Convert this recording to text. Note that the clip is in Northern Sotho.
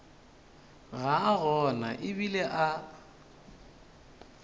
ga a gona ebile a